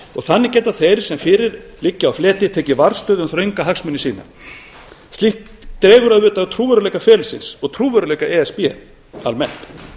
og þannig geta þeir sem fyrir liggja á fleti tekið varðstöðu um þrönga hagsmuni sína slíkt dregur auðvitað úr trúverðugleika ferlisins og trúverðugleika e s b almennt